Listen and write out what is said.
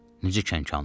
Necə kənxanlıq?